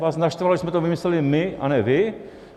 Vás naštvalo, že jsme to vymysleli my, a ne vy.